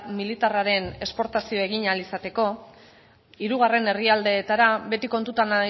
militarraren esportazioa egin ahal izateko hirugarren herrialdeetara beti kontutan